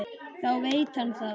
Þá veit hann það.